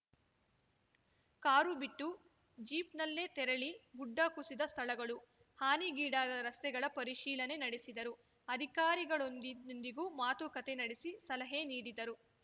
car ಬಿಟ್ಟು ಜೀಪ್‌ನಲ್ಲೇ ತೆರಳಿ ಗುಡ್ಡ ಕುಸಿದ ಸ್ಥಳಗಳು ಹಾನಿಗೀಡಾದ ರಸ್ತೆಗಳ ಪರಿಶೀಲನೆ ನಡೆಸಿದರು ಅಧಿಕಾರಿಗಳೊಂದಿಗೂ ಮಾತುಕತೆ ನಡೆಸಿ ಸಲಹೆ ನೀಡಿದರು